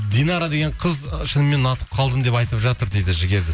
динара деген қыз шынымен ұнатып қалдым деп айтып жатыр дейді жігерді